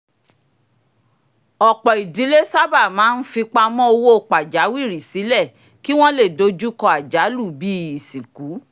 ọ̀pọ̀ idílé sábà máa ń fipamọ́ owó pajawiri sílẹ̀ kí wọ́n lè dojú kọ́ àjálù bíi isinku